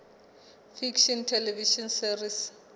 fiction television series